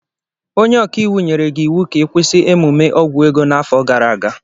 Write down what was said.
Onye ọkaiwu nyere gị iwu ka ị kwụsị emume ogwuego n'afọ gara aga!